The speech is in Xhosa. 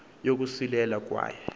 yokosulelwa y kwaye